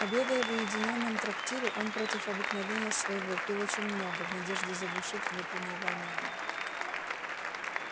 обедая в уединённом трактире он против обыкновения своего пил очень много в надежде заглушить внутреннее волнение